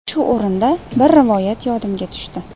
Shu o‘rinda, bir rivoyat yodimga tushdi.